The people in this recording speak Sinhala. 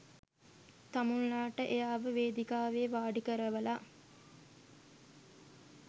තමුන්ලාට එයාව වේදිකාවේ වාඩිකරවලා